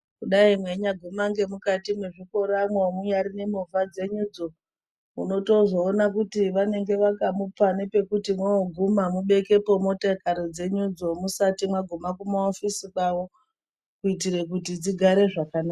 Kudayi mweinyaguma ngemukati mwezvikoramwo munyari nemovha dzenyudzo munotozoona kuti vanenge vakamupa nepekuti moguma mubekepo motokari dzenyudzo musati maguma kumaofisi kwavo kuitira kuti dzigare zvakanaka.